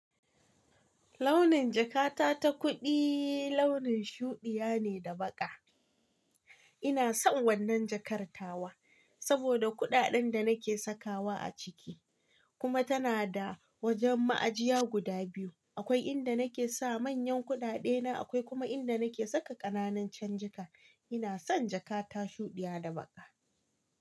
Launin jakata ta kuɗi launin shuɗiya ne da baƙa. Ina son wannan jakar tawa saboda kuɗaɗen da nake sakawa a ciki, kuma tana da wajen ma'ajiya guda biyu. Akwai inda nake sa manyan kuɗaɗe na, akwai kuma inda nake saka ƙananun can jika. Ina son jakata shuɗiya da baƙa.